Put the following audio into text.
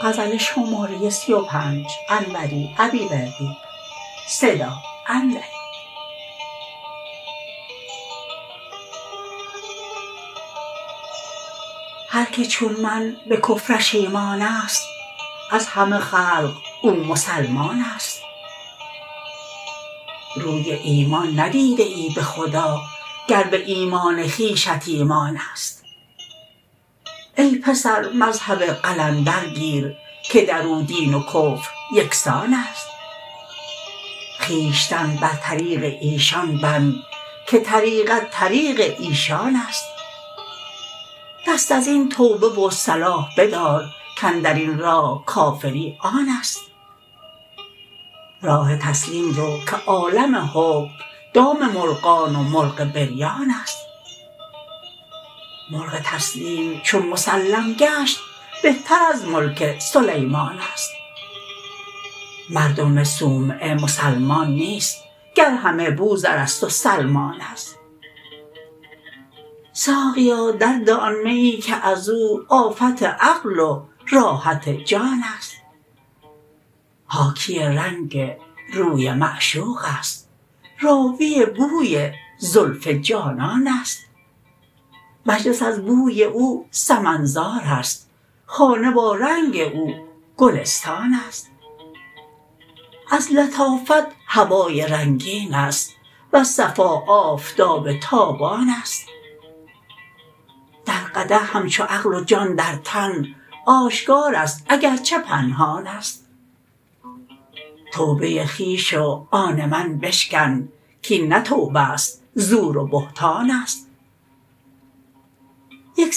هرکه چون من به کفرش ایمانست از همه خلق او مسلمانست روی ایمان ندیده ای به خدا گر به ایمان خویشت ایمانست ای پسر مذهب قلندر گیر که درو دین و کفر یکسانست خویشتن بر طریق ایشان بند که طریقت طریق ایشانست دست ازین توبه و صلاح بدار کاندرین راه کافری آنست راه تسلیم رو که عالم حکم دام مرغان و مرغ بریانست ملک تسلیم چون مسلم گشت بهتر از ملک سلیمانست مردم صومعه مسلمان نیست گر همه بوذرست و سلمانست ساقیا در ده آن میی که ازو آفت عقل و راحت جانست حاکی رنگ روی معشوقست راوی بوی زلف جانانست مجلس از بوی او سمن زارست خانه با رنگ او گلستانست از لطافت هوای رنگینست وز صفا آفتاب تابانست در قدح همچو عقل و جان در تن آشکارست اگرچه پنهانست توبه خویش و آن من بشکن کین نه توبه است زور و بهتانست یک